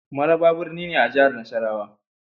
Maraba birni ne a jihar Nasarawa.